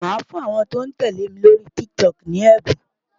Màá fún àwọn tó ń tẹ̀lé mi lórí TikTok ní ẹ̀bùn.